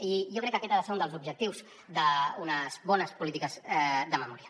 i jo crec que aquest ha de ser un dels objectius d’unes bones polítiques de memòria